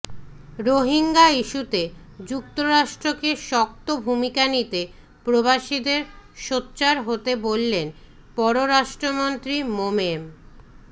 রোহিঙ্গা ইস্যুতে যুক্তরাষ্ট্রকে শক্ত ভূমিকা নিতে প্রবাসীদের সোচ্চার হতে বললেন পররাষ্ট্রমন্ত্রী মোমেন